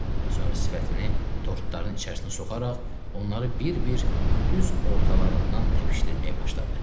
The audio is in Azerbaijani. Sonra sifətini tortların içərisinə soxaraq onları bir-bir düz ortalarından təpişdirməyə başladı.